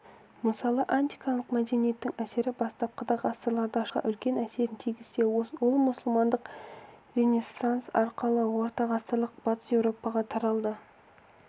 мысалы антикалық мәдениеттің әсері бастапқыда ғасырларда шығысқа үлкен әсерін тигізсе ол мұсылмандық ренессанс арқылы ортағасырлық батыс еуропаға тарал-ды